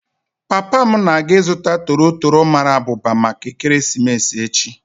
Papa m na-aga ịzụta toro toro mara abụba maka ekeresimesi echi.